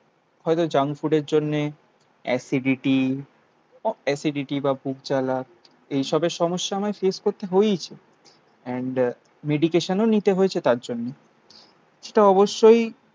হয়তো জাঙ্ক ফুডের জন্যে অ্যাসিডিটি অ্যাসিডিটি বা বুক জ্বালা. এইসবের সমস্যা আমায় ফেস করতে হয়েইছে. এন্ড মেডিকেশানও নিতে হয়েছে তাঁর জন্য. সেটা অবশ্যই